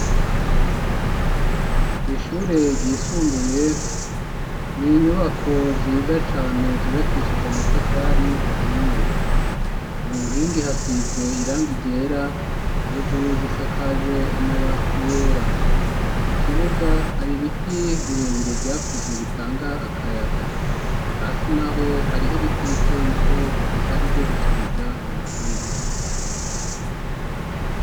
Kw'ishure ryisumbuye ni inyubako ziza cane zubakishije amatafari ahiye uwu nkingi hasize iranga igera hejuru zisakajwe amabati yera mu kibuga hari ibiti birebire vyakuze bitanga ake akayaga hasi na ho hariho ibiti bitobito bihari vyo gushariza amashuri.